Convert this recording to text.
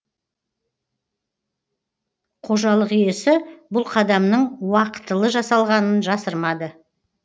қожалық иесі бұл қадамның уақытылы жасалғанын жасырмады